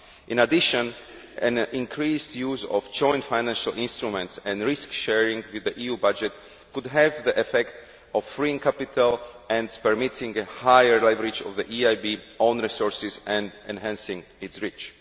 In addition, an increased use of joint financial instruments and risk sharing with the EU budget could have the effect of freeing capital and permitting a higher leverage of the EIB own resources and enhancing its reach.